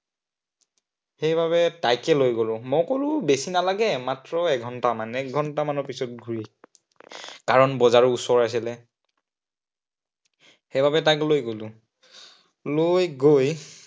সেইবাবে তাইকে লৈ গলো। মই কলো বেছি নালাগে, মাত্ৰ এঘন্টামান, এক ঘন্টামানৰ পিছত ঘূৰি আহিম। কাৰন বজাৰ ওচৰ একেবাৰে। সেইবাবে তাইক লৈ গলো লৈ গৈ